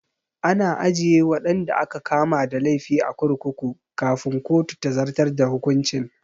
Ana ajiye waɗanda aka kama da laifi a kurkuku kafin kotu ta zartar da hukuncin